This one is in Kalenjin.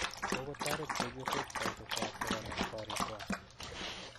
Kogotoret chepyosok poishekwak kogonop korikwak